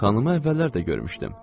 Xanımı əvvəllər də görmüşdüm.